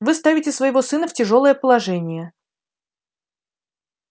вы ставите своего сына в тяжёлое положение